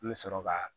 An bɛ sɔrɔ ka